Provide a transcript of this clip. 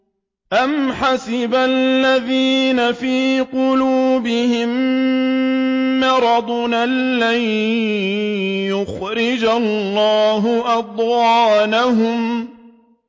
أَمْ حَسِبَ الَّذِينَ فِي قُلُوبِهِم مَّرَضٌ أَن لَّن يُخْرِجَ اللَّهُ أَضْغَانَهُمْ